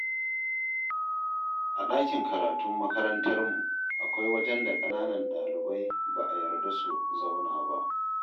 A ɗakin karatun makarantarmu, akwai wajen da kananan ɗalibai ba a yarda su zauna ba.